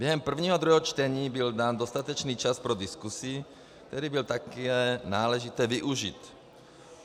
Během prvního a druhého čtení byl dán dostatečný čas pro diskusi, který byl také náležitě využit.